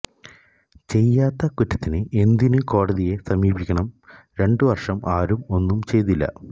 ചെയ്യാത്ത കുറ്റത്തിന് എന്തിനു കോടതിയെ സമീപിക്കണം രണ്ടു വർഷം ആരും ഒന്നും ചെയ്തില്ല